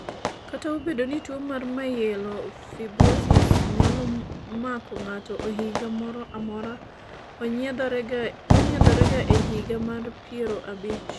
kata ka obedo ni tuo mar Myelofibrosis nyalo mako ng'ato e higa moro amora, onyiedhore ga e higa mar piero abich